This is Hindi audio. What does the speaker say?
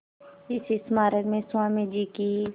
इस स्मारक में स्वामी जी की